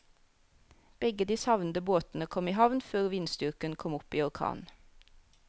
Begge de savnede båtene kom i havn før vindstyrken kom opp i orkan.